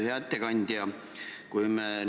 Hea ettekandja!